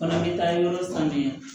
Fana bɛ taa yɔrɔ sanuya